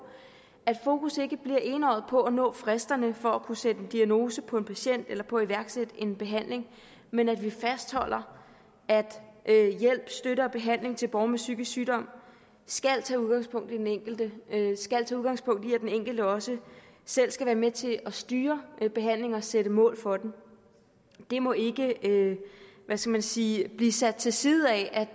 at fokus ikke bliver enøjet på at nå fristerne for at kunne sætte en diagnose på en patient eller på at iværksætte en behandling men at vi fastholder at hjælp støtte og behandling til borgere med psykisk sygdom skal tage udgangspunkt i den enkelte skal tage udgangspunkt i at den enkelte også selv skal være med til at styre behandlingen og sætte mål for den det må ikke hvad skal man sige blive sat til side af at